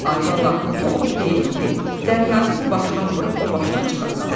Ay bala, bu ot deyil ki, dəryazı bu başdan vurub o başdan çıxasan.